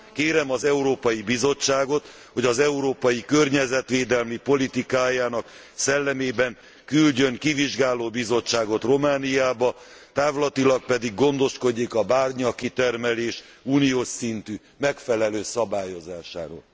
Kérem az Európai Bizottságot, hogy európai környezetvédelmi politikájának szellemében küldjön kivizsgáló bizottságot Romániába, távlatilag pedig gondoskodjék a bányakitermelés uniós szintű megfelelő szabályozásáról.